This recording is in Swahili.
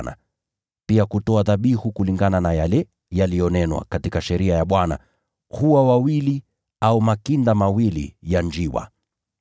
na pia kutoa dhabihu kulingana na yale yaliyonenwa katika Sheria ya Bwana: “Hua wawili au makinda mawili ya njiwa.”